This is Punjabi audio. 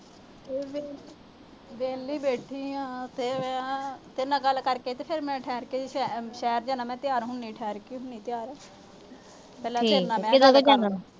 ਕੁੱਛ ਨਹੀਂ। ਵਿਹਲੀ ਬੈਠੀ ਆ। ਤੇਰੇ ਨਾਲ ਗੱਲ ਕਰਕੇ ਤੇ ਮੈਂ ਸ਼ਹਿਰ ਜਾਣਾ, ਤਿਆਰ ਹੁਣੀ ਆ ਅਹ ਠਹਿਰ ਕੇ ਹੁਣੀ ਆ ਤਿਆਰ।